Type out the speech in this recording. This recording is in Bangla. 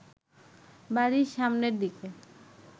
বাড়ির সামনের দিকে